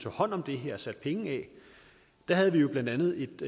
hånd om det her og sætte penge af var blandt andet